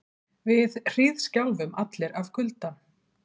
Við hríðskjálfum allir af kulda.